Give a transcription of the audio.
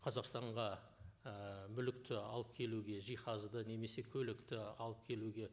қазақстанға і мүлікті алып келуге жиһазды немесе көлікті алып келуге